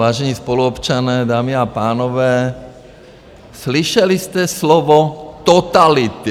Vážení spoluobčané, dámy a pánové, slyšeli jste slovo totality.